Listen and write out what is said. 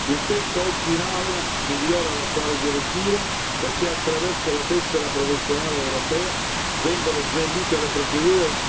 Il testo oggi in Aula migliora l'attuale direttiva perché attraverso la tessera professionale europea vengono snellite le procedure.